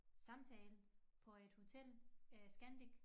Samtale på et hotel Scanic